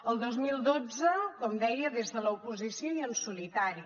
el dos mil dotze com deia des de l’oposició i en solitari